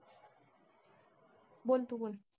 बोल तू बोल.